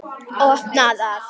Opna það.